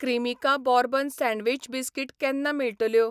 Cremica bourbon sandwich biscuit केन्ना मेळटल्यो?